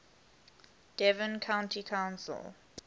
devon county council